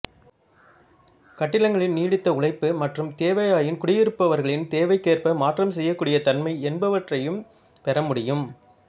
கட்டிடங்களின் நீடித்த உழைப்பு மற்றும் தேவையாயின் குடியிருப்பவர்களின் தேவைக்கேற்ப மாற்றம் செய்யக் கூடிய தன்மை என்பவற்றையும் பெற முடியும்